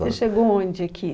Você chegou onde aqui?